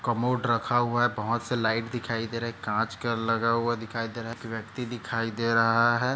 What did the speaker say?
Commode रखा हुआ है बहुत से लाइट दिखाई दे रहे है काँच का लगा हुआ दिखाई दे रहा है व्यक्ति दिखाई दे रहा है।